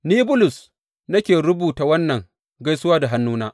Ni, Bulus nake rubuta wannan gaisuwa da hannuna.